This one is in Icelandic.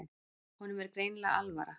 Honum er greinilega alvara.